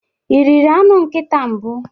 Ị riri anụ nkịta mbụ?